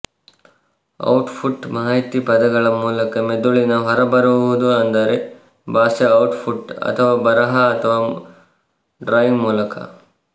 output ಮಾಹಿತಿ ಪದಗಳ ಮೂಲಕ ಮೆದುಳಿನ ಹೊರಬರುವುದು ಅಂದರೆ ಭಾಷೆ ಔಟ್ಪುಟ್ ಅಥವಾ ಬರಹ ಅಥವಾ ಡ್ರಾಯಿಂಗ್ ಮೂಲಕ